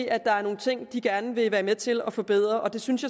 at der er nogle ting de gerne vil være med til at forbedre det synes